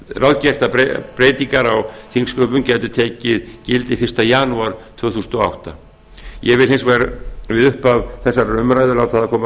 ráðgert að breytingar á þingsköpum gætu tekið gildi fyrsta janúar tvö þúsund og átta ég vil hins vegar við upphaf þessarar umræðu láta það koma